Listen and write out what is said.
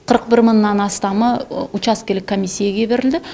қырық бір мыңнан астамы учаскелік комиссейге берілді